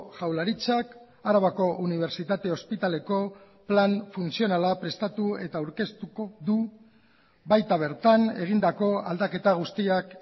jaurlaritzak arabako unibertsitate ospitaleko plan funtzionala prestatu eta aurkeztuko du baita bertan egindako aldaketa guztiak